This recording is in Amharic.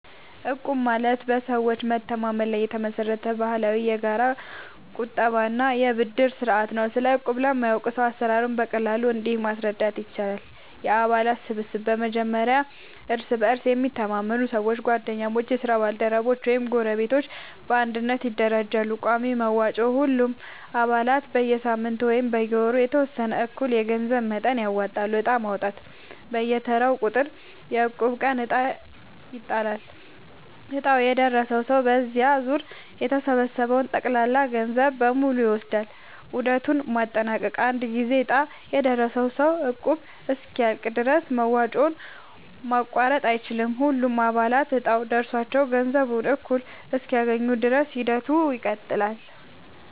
እቁብ ማለት በሰዎች መተማመን ላይ የተመሰረተ ባህላዊ የጋራ ቁጠባ እና የብድር ስርዓት ነው። ስለ እቁብ ለማያውቅ ሰው አሰራሩን በቀላሉ እንዲህ ማስረዳት ይቻላል፦ የአባላት ስብስብ፦ በመጀመሪያ እርስ በእርስ የሚተማመኑ ሰዎች (ጓደኞች፣ የስራ ባልደረቦች ወይም ጎረቤቶች) በአንድነት ይደራጃሉ። ቋሚ መዋጮ፦ ሁሉም አባላት በየሳምንቱ ወይም በየወሩ የተወሰነ እኩል የገንዘብ መጠን ያወጣሉ። ዕጣ ማውጣት፦ በየተራው ቁጥር (የእቁብ ቀን) ዕጣ ይጣላል፤ ዕጣው የደረሰው ሰው በዚያ ዙር የተሰበሰበውን ጠቅላላ ገንዘብ በሙሉ ይወስዳል። ዑደቱን ማጠናቀቅ፦ አንድ ጊዜ ዕጣ የደረሰው ሰው እቁቡ እስኪያልቅ ድረስ መዋጮውን ማቋረጥ አይችልም። ሁሉም አባላት እጣው ደርሷቸው ገንዘቡን እኩል እስኪያገኙ ድረስ ሂደቱ ይቀጥላል።